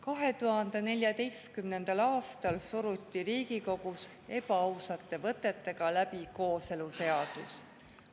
2014. aastal suruti Riigikogus ebaausate võtetega läbi kooseluseadus.